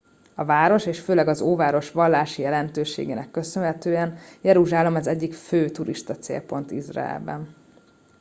a város és főleg az óváros vallási jelentőségének köszönhetően jeruzsálem az egyik fő turistacélpont izraelben